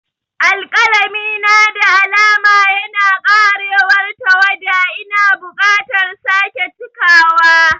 Alƙalami na da alama yana ƙarewar tawada - Ina buƙatar sake cikawa.